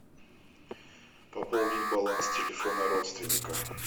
пополнить баланс телефона родственника